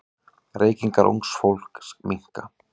Reykingar ungs fólks minnka.